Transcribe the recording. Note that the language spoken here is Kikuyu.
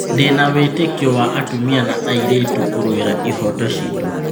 Ndĩna wĩtĩkio wa atumia na airĩtu kũrũirĩra ihooto citũ.